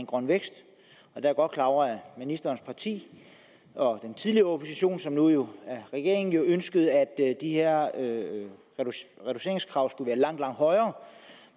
grøn vækst jeg er godt klar over at ministerens parti og den tidligere opposition som jo nu er regering ønskede at de her reduceringskrav skulle være langt langt højere